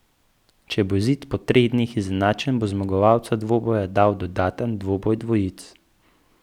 Če bo izid po treh dneh izenačen, bo zmagovalca dvoboja dal dodaten dvoboj dvojic.